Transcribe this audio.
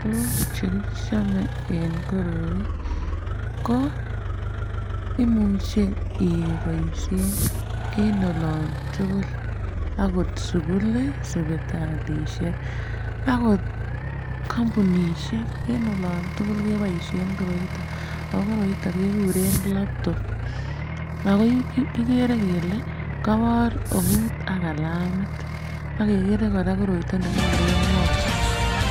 Tukuk chekichome en koroi ko imuche keboishen en olon tukuk akot sukuli sipitalishek akot kompunishek en olon tukuk keboishen koroiton okoroiton kekuren laptop. Ako kikere kele kobor eut ak kalamit ak kekere Koraa koroiton nekikuren mouse